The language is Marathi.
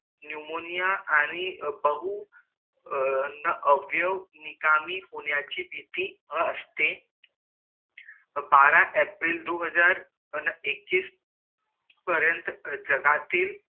नेऊमओनिया आणि बहु अवयो निकामी होण्याची भीती असेत बारा अप्रैल दो हजार एकिस पर्यंत जगातील